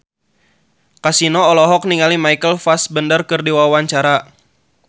Kasino olohok ningali Michael Fassbender keur diwawancara